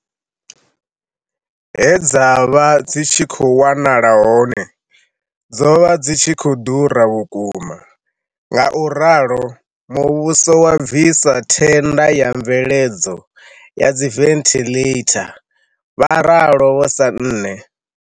He dza vha dzi tshi khou wanala hone, dzo vha dzi khou ḓura vhuku-ma, ngauralo, muvhuso wa bvisa thenda ya mveledzo ya dziventhiḽeitha, vha ralo Vho Sanne.